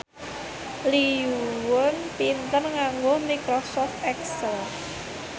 Lee Yo Won pinter nganggo microsoft excel